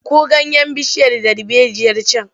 Tsinko ganyen bishiyar darbejiyar can!